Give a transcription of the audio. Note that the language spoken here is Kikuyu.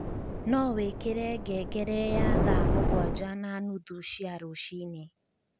no wīkīre ngengere ya thaa mūgūanja na nuthu cia rūcinī